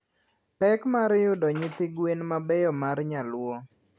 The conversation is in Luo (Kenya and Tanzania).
Pek mar yudo nyithi gwen mabeyo mar nyaluo.